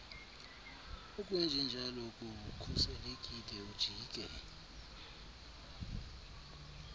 ukwenjenjalo kukhuselekile ujike